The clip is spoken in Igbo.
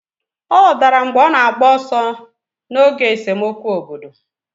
Ọ dara mgbe ọ na-agba ọsọ n'oge esemokwu obodo.